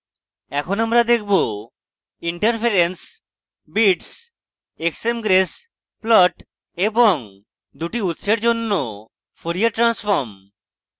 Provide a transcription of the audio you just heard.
এখন আমরা দেখাবো